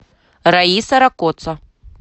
раиса ракоца